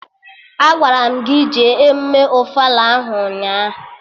Agwara m gị jee emụme ofala ahụ ụnyaahụ!